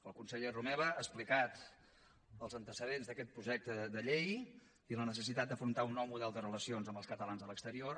el conseller romeva ha explicat els antecedents d’aquest projecte de llei i la necessitat d’afrontar un nou model de relacions amb els catalans a l’exterior